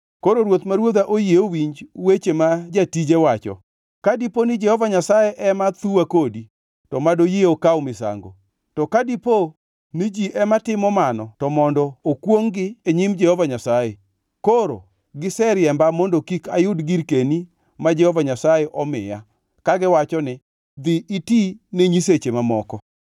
Koro ruoth ma ruodha oyie owinj weche ma jatije wacho. Ka diponi Jehova Nyasaye ema thuya kodi, to madoyie okaw misango. To ka dipo ni ji ema timo mano to mondo okwongʼ-gi e nyim Jehova Nyasaye! Koro giseriemba mondo kik ayud girkeni ma Jehova Nyasaye omiya kagiwacho ni, ‘Dhi iti ne nyiseche mamoko.’